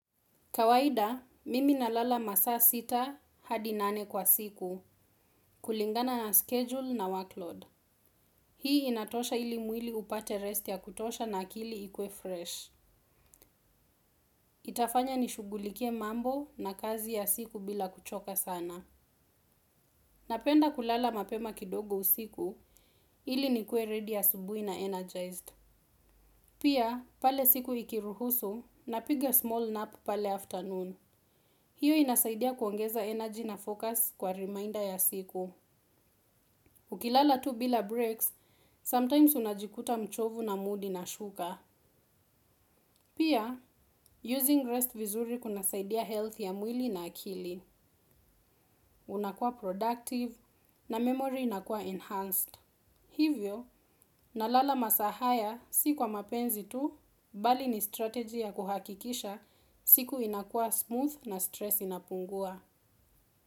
Kawaida, mimi nalala masaa sita, hadi nane kwa siku, kulingana na schedule na workload. Hii inatosha ili mwili upache rest ya kutosha na akili ikue fresh. Itafanya nishugulikie mambo na kazi ya siku bila kuchoka sana. Napenda kulala mapema kidogo usiku, ili nikuwe ready asubuhi na energized. Pia, pale siku ikiruhusu, napiga small nap pale afternoon. Hiyo inasaidia kuongeza energy na focus kwa reminder ya siku. Ukilala tu bila breaks sometimes unajikuta mchovu na mood inashuka. Pia, using rest vizuri kunasaidia health ya mwili na akili. Unakua productive na memory inakua enhanced. Hivyo, nalala masaa haya si kwa mapenzi tu bali ni strategy ya kuhakikisha siku inakua smooth na stress inapungua.